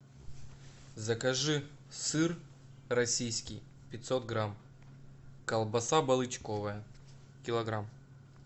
закажи сыр российский пятьсот грамм колбаса балычковая килограмм